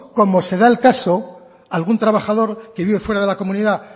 como se da el caso algún trabajador que vive fuera de la comunidad